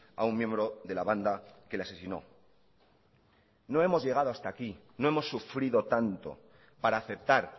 a un miembro de la banda que le asesinó no hemos llegado hasta aquí no hemos sufrido tanto para aceptar